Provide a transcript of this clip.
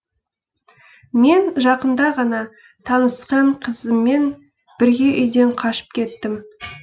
мен жақында ғана танысқан қызыммен бірге үйден қашып кеттім